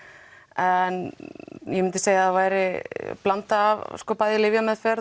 en ég myndi segja að það væri blanda af bæði lyfjameðferð